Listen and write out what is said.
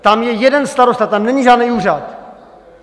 Tam je jeden starosta, tam není žádný úřad.